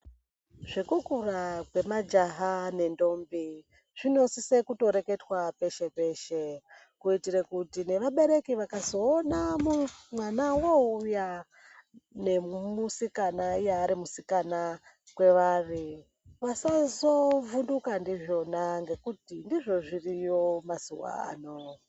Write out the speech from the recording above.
Zvekukura kwemajaha nendombi zvinosise kutoreketwa peshe-peshe. Kuitire kuti nevabereki vakazoona mwana woouya nemusikana iye ari musikana kwevari vazazovhunduka ndizvona ngekuti ndizvo zviriyo mazuva ano.